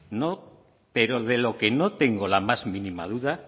pero de lo que no tengo la más mínima duda